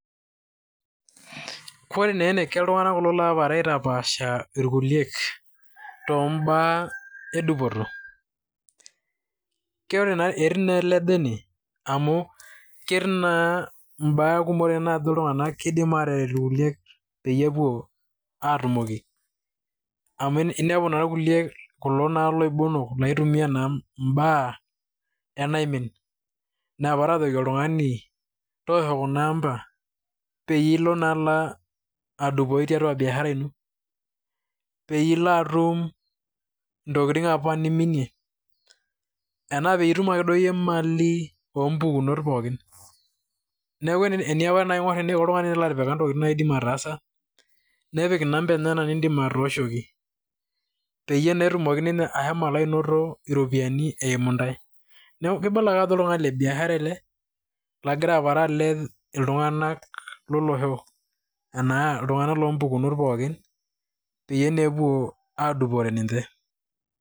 Koree na ene ke ltungana kulo ogira aitapasha irkuliek too baa edupoto. Etiii na ele obo ene, amu ketii naa baa kumok najo ltung'ana keidim aterutu irkulie peyie epuoatumoki, amu inepu naa irkulie kulo loibonok, laitumia naa ibaa enaimin, napara ajoki oltung'ani toosho kuna amba pilo naa adupoyu tiatua biashara ino. Peiyie ilo atum intokitin apa niminie ena piitum duo akeyie imali oo mpukunot pookin. Neeku tenetipika oltungani ntokitin naidim ataasa nepik inambai enyana naidm atoshoki, peyie atumoki ninye ashomo anoto iropiani eimu ntae. Neeku kibala ake ajo oltungani le biashara ele lagira aepare alej iltunganak lolosho anaa iltungana lompukunot pookin pee epuo adupore ninche.